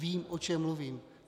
Vím, o čem mluvím.